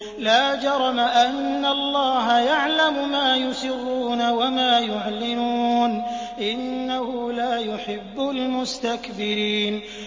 لَا جَرَمَ أَنَّ اللَّهَ يَعْلَمُ مَا يُسِرُّونَ وَمَا يُعْلِنُونَ ۚ إِنَّهُ لَا يُحِبُّ الْمُسْتَكْبِرِينَ